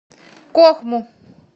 кохму